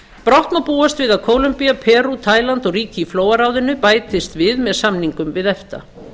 brátt má búast við að kólombía perú taíland og ríki í flóaráðinu bætist við með samningum við efta